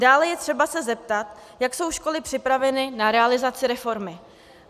Dále je třeba se zeptat, jak jsou školy připraveny na realizaci reformy.